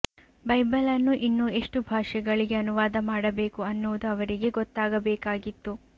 ಬೈಬಲನ್ನು ಇನ್ನೂ ಎಷ್ಟು ಭಾಷೆಗಳಿಗೆ ಅನುವಾದ ಮಾಡಬೇಕು ಅನ್ನುವುದು ಅವರಿಗೆ ಗೊತ್ತಾಗಬೇಕಾಗಿತ್ತು